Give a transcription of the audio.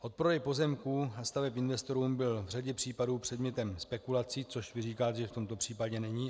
Odprodej pozemků a staveb investorům byl v řadě případů předmětem spekulací - což vy říkáte, že v tomto případě není.